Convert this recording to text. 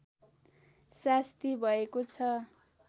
सास्ती भएको छ